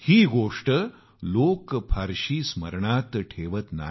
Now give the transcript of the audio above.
ही गोष्ट लोक कमीच स्मरणात ठेवतात